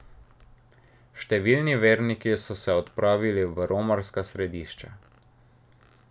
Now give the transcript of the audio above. Številni verniki so se odpravili v romarska središča.